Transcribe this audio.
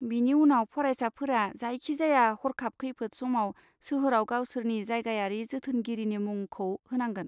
बिनि उनाव, फरायसाफोरा जायखिजाया हरखाब खैफोद समाव सोहोराव गावसोरनि जायगायारि जोथोनगिरिनि मुंखौ होनांगोन।